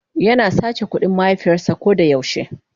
yana sace kudin mahaifiyars a kodayau she.